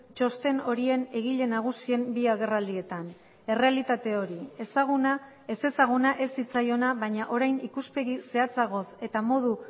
txosten horien egile nagusien bi agerraldietan errealitate hori ezaguna ezezaguna ez zitzaiona baina orain ikuspegi zehatzagoz eta modu